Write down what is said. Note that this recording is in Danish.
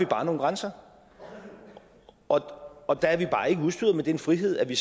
bare nogle grænser og der er vi bare ikke udstyret med den frihed at vi